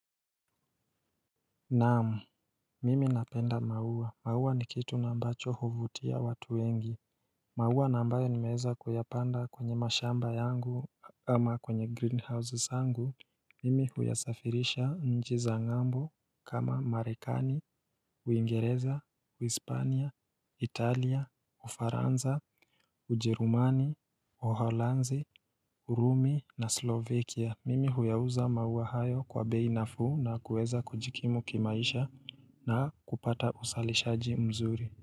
Naam, mimi napenda maua. Maua ni kitu na ambacho huvutia watu wengi. Maua na ambayo nimeweza kuyapanda kwenye mashamba yangu ama kwenye greenhouses zangu. Mimi huyasafirisha nchi za ngambo kama marekani, uingereza, uhispania, italia, ufaranza, ujerumani, uholanzi, urumi na slovakia. Mimi huyauza maua hayo kwa bei nafuu na kuweza kujikimu kimaisha na kupata usalishaji mzuri.